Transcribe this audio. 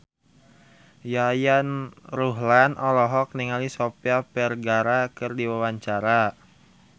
Yayan Ruhlan olohok ningali Sofia Vergara keur diwawancara